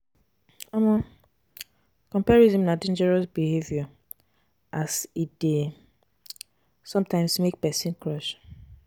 um Comparison na dangerious behavior as as e dey um sometimes make pesin crash.